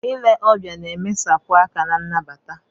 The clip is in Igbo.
Ile ọbịa na-emesapụ aka na nnabata.